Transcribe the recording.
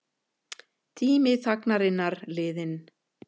Tími þagnarinnar liðinn